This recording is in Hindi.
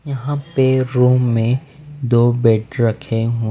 यहाँ पे रूम में दो बेड रखे हुए --